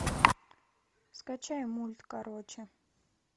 скачай мульт короче